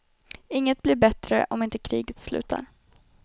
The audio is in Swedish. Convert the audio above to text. Inget blir bättre om inte kriget slutar.